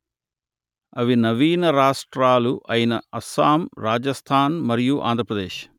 అవి నవీన రాష్ట్రాలు అయిన అస్సాం రాజస్థాన్ మరియు ఆంధ్ర ప్రదేశ్